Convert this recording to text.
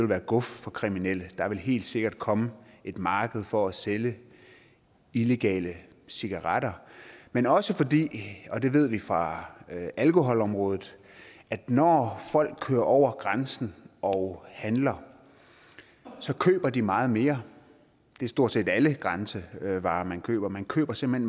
være guf for kriminelle og der vil helt sikkert komme et marked for at sælge illegale cigaretter men også fordi og det ved vi fra alkoholområdet at når folk kører over grænsen og handler køber de meget mere det er stort set alle grænsevarer man køber man køber simpelt